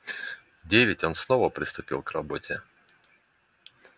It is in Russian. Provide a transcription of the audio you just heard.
в девять он снова приступил к работе